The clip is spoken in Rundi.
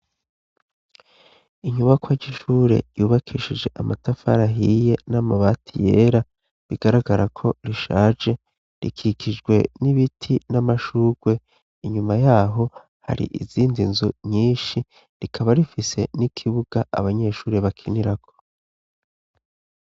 Inyubakoa jyishure yubakishije amatafara ahiye n'amabati yera bigaragara ko rishaje rikikijwe n'ibiti n'amashurwe inyuma yaho hari izindi nzo nyinshi rikaba rifise n'ikibuga abanyeshuri bakinirako.